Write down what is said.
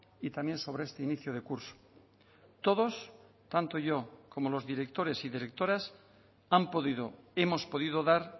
y también sobre este inicio de curso todos tanto yo como los directores y directoras han podido hemos podido dar